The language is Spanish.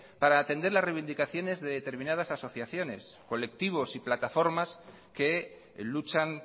para atender la reivindicaciones de determinadas asociaciones colectivos y plataformas que luchan